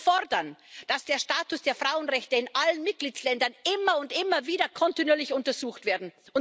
Wir fordern, dass der Status der Frauenrechte in allen Mitgliedstaaten immer und immer wieder kontinuierlich untersucht wird.